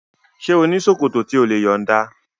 Ṣé ò ní ṣòkòtò tí o lè yọ̀nda?